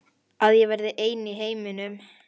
Að ég verði ein í heiminum.